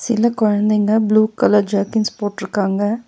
சில கொழந்தைங்க blue colour jerkins போட்ருக்காங்க.